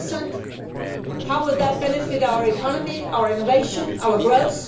on 20? How would that benefit our economy, our innovation, our growth?